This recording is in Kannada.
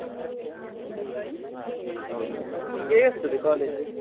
ಹಾ ಹಾಗೆ, ಮತ್ತೆ ನಿಂಗೆ ಹೇಗಗ್ತದೆ college ?